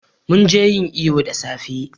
mun je yin iyo da safe